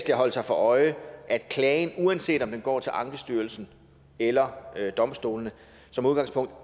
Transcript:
at holde sig for øje at klagen uanset om den går til ankestyrelsen eller domstolene som udgangspunkt